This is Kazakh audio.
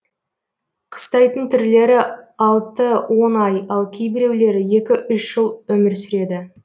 қыстайтын түрлері алты он ай ал кейбіреулері екі үш жыл өмір сүреді